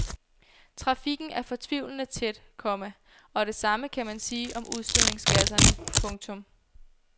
Trafikken er fortvivlende tæt, komma og det samme kan man sige om udstødningsgasserne. punktum